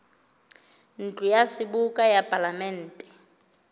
ntlo ya seboka ya palamente